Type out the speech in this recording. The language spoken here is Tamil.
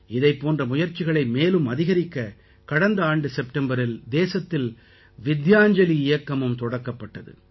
இதைப் போன்ற முயற்சிகளை மேலும் அதிகரிக்க கடந்த ஆண்டு செப்டம்பரில் தேசத்தில் வித்யாஞ்சலி இயக்கமும் தொடங்கப்பட்டது